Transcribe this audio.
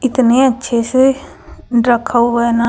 इतने अच्छे से रखा हुआ है ना--